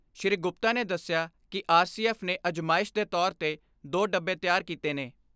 ਸ੍ਰੀ ਗੁਪਤਾ ਨੇ ਦਸਿਆ ਕਿ ਆਰ ਸੀ ਐਫ ਨੇ ਅਜ਼ਮਾਇਸ਼ ਦੇ ਤੌਰ 'ਤੇ ਦੋ ਡੱਬੇ ਤਿਆਰ ਕੀਤੇ ਨੇ।